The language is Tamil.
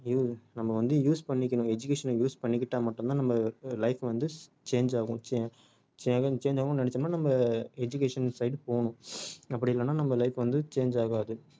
u~ நம்ம வந்து use பண்ணிக்கணும் education அ use பண்ணிக்கிட்டா மட்டும் தான் நம்ம அஹ் life வந்து change ஆகும் cha~ எதும் change ஆகணும்னு நெனச்சோம்னா நம்ம education side போகணும் அப்படி இல்லன்னா நம்ம life வந்து change ஆகாது